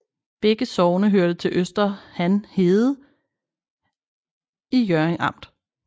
Begge sogne hørte til Øster Han Herred i Hjørring Amt